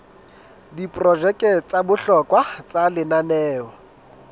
diprojeke tsa bohlokwa tsa lenaneo